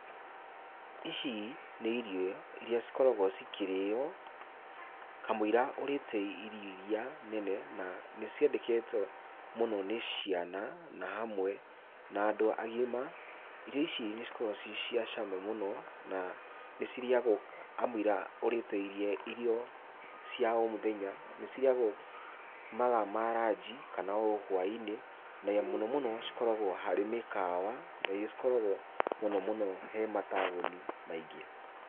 Ici nĩ irio iria cikoragwo cikĩrĩo kamũiria ũrĩte irio iria nene, na nĩciendekete mũno nĩ ciana na hamwe na andũ agima. Irio ici nĩcikoragwo ciĩ cia cama mũno na nĩcirĩagwo kamũiria ũrĩte irio cia o mũthenya. Nĩcirĩyagwo mathaa ma ranji kana o hwainĩ, na mũno mũno cikoragwo harĩ mĩkawa na iria cikoragwo mũno mũno he mataũni maingĩ.